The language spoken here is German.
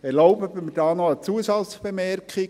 Erlauben Sie mir eine Zusatzbemerkung: